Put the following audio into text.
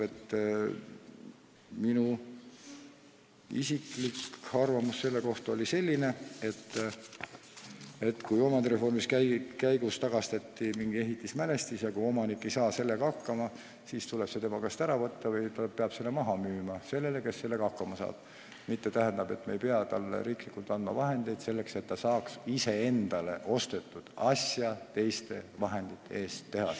Minu isiklik arvamus oli selline, et kui omandireformi käigus tagastati mingi ehitismälestis, aga omanik ei saa selle korrashoiuga hakkama, siis tuleb see tema käest ära võtta või ta peab selle maha müüma kellelegi, kes sellega hakkama saab, mitte riik ei pea talle andma raha selleks, et ta saaks iseendale ostetud asja korda teha.